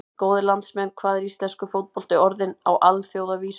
Góðir landsmenn, hvað er íslenskur fótbolti orðinn á alþjóðavísu?